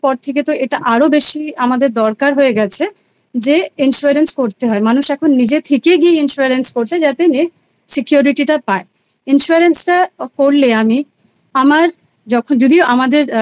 থেকে এটা আরও বেশি আমাদের দরকার হয়ে গেছে যে Insurance করতে হয়। মানুষ এখন নিজে থেকে গিয়ে Insurance করছে যাতে Security টা পায়। Insurance টা করলে আমি আমার যদি আমাদের